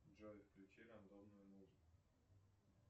джой включи рандомную музыку